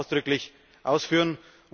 Ich möchte es aber ausdrücklich ausführen.